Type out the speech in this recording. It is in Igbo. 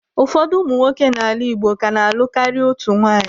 Ụfọdụ ụmụ nwoke n'ala Igbo ka na-alụ karịa otu nwunye.